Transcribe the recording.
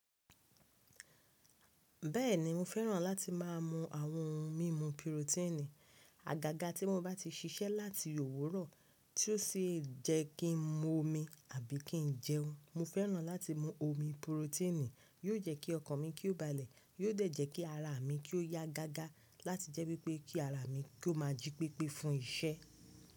Bẹ́ẹ̀ni mo fẹ́ràn láti má a mu àwọn ohun mímu pirotéènì. Àgàgà tí wọ́n bá ti ṣiṣẹ́ láti òwúrọ̀ tí ó sì jẹ́ kí n mu omi àbí kí n jẹun. Mo fẹ́ràn láti mu omi pirotéènì, yóò jẹ́ kí ọkàn mi kí ó balẹ̀, yóò dẹ̀ jẹ́ kí ara mi kí ó yá gágá láti jẹ́ wípé kí ara mi kí ó má a jí pépé fún isẹ́.